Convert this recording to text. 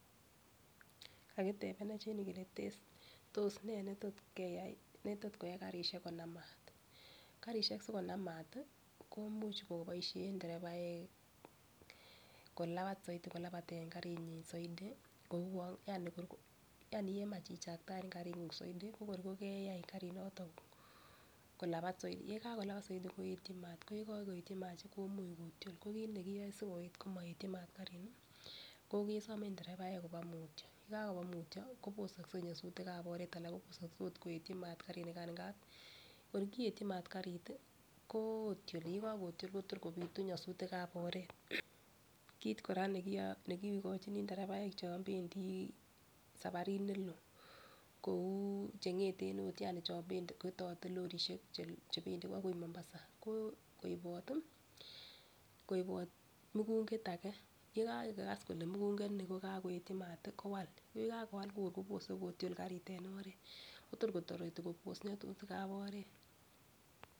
Kakitepenech en yu kele tos ne ne tot koyai karishek konam maat. Karishek si konam maat i, komuch kopaishe nderebaek kolapat saidi, kolapaten karinyi saidi kouan kemach ichaktaen karing'ung' saidi ko kor keyai karinotok kolapat saidi. Ye kakolapat saidi, koetchin maat, ko ye kakoetyi maat komuch kotiol. Ko kiit ne kiyae si koit komaetchi maat karini ko kesame nderebaek kopa mutya, ye kakopa mutya koposakse nyasutikap oret anan koposakse agot koetchin maat karinikan, kor kietyi mat karit i kotioli, ye kakotiol kotukor kopitu nyasutik ap oret. Kiit kora ne kikachini nderebainik chan pendi saparit ne loo, kou che ng'eten agot, yani chan pendati, lorrisiek che pendi akoi Mombasa, koipat mugunget age ye kakokas mugungani ko kakoetchi maat i, kowal. Ye kakowal ko tukor kotareti kopos nyasutik ap oret